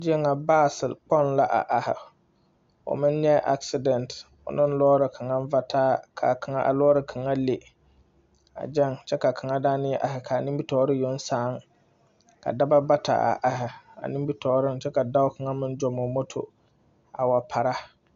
Zie ŋa, 'bus' kpoŋ la a are, o meŋ nyɛɛ 'accident' o ne lɔɔre kaŋa vataa ka a lɔɔre kaŋa le a gaŋ kyɛ ka kaŋa meŋ a are ka a nimiri tɔɔre yoŋ sãã, ka dɔba bata a are a nimiri tɔɔreŋ, kyɛ ka dɔba kaŋa zɔɔ o moto a wa para.